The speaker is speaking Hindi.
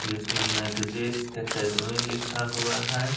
जिस में मेडजी एकाडमी लिखा हुआ है ।